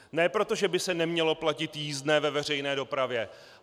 Ne proto, že by se nemělo platit jízdné ve veřejné dopravě.